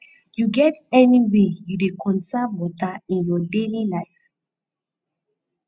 you get any way you dey conserve water in your daily life